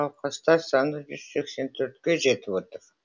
науқастар саны жүз сексен төртке жетіп отыр